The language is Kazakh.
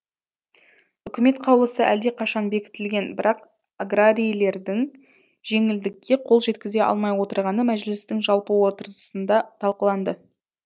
үкімет қаулысы әлдеқашан бекітілген бірақ аграрийлердің жеңілдікке қол жеткізе алмай отырғаны мәжілістің жалпы отырысында талқыланды